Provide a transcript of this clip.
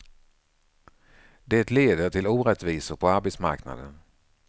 Det leder till orättvisor på arbetsmarknaden.